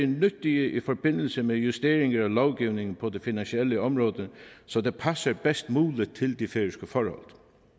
nyttige i forbindelse med justeringer af lovgivningen på det finansielle område så det passer bedst muligt til de færøske forhold